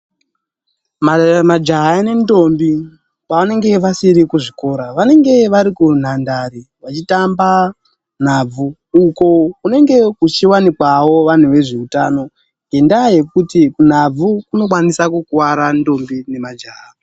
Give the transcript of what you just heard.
Majaya nentombi pavanenge vasiri kuzvikora, vanenge varikunhandare vachitamba nhabvu uko kunenge kuchiwanikawo vantu vezveutano. Ngendaa yekuti kunhabvu kunokwanise kukuvara ntombi nemajaha.